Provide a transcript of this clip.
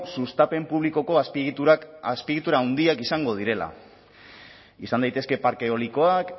sustapen publikoko azpiegitura handiak izango direla izan daitezke parke eolikoak